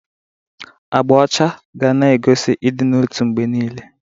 Agba ọcha ga-na egosi ịdị n'otu mgbe niile.